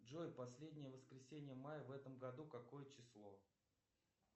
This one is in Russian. джой последнее воскресенье мая в этом году какое число